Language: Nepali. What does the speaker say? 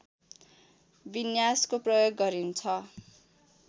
विन्यासको प्रयोग गरिन्छ